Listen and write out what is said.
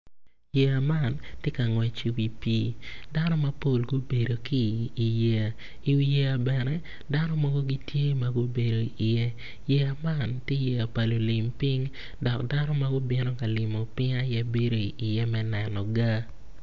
Yeya man tye ka ngwec i wi pii dano mapol gubedo ki i yeya, iwi yeya bene dano mogo gitye ma gubedo iye yeya man ti yeya pa lulim piny dok dano m gubino ka limo piny aye bedo iye me neno ga